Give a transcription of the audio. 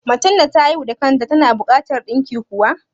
Macen da ta haihu da kan ta tana buƙatan ɗinki kuwa?